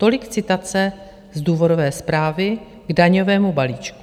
Tolik citace z důvodové zprávy k daňovému balíčku.